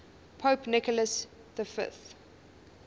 pope nicholas v